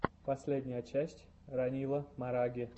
последняя часть ранила мараги